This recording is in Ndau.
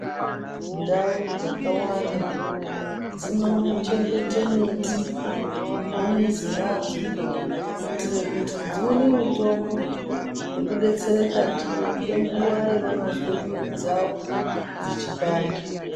Ndau dzakawanda dzino chengete miti mumizi mwadzo kuitire kuti dzione mitombo yekudetsereka ndiyo ngekuwa yavanozwe mwiri dzavo dzechipanda.